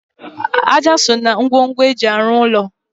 Ájá so na ngwongwo eji arụ úlọ